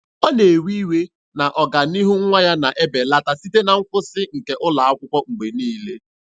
Ọ na-ewe iwe na ọganihu nwa ya na-ebelata site na nkwụsị nke ụlọ akwụkwọ mgbe niile.